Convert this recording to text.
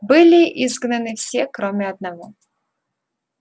были изгнаны все кроме одного